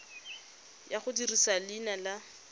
ya go dirisa leina la